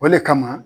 O le kama